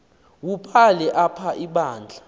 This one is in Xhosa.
wubhale apha ibandla